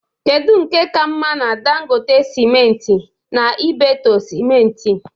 kedu nke ka mma na Dangote simenti na Ibeto Simenti?